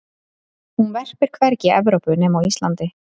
hún verpir hvergi í evrópu nema á íslandi